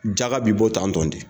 Jaga b'i bɔ tan tɔn de.